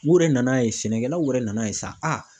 U yɛrɛ nan'a ye sɛnɛkɛlaw yɛrɛ nana ye sa a